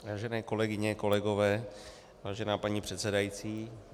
Vážené kolegyně, kolegové, vážená paní předsedající.